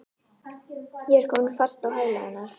Ég er komin fast á hæla hennar.